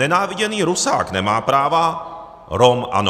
Nenáviděný Rusák nemá práva, Rom ano.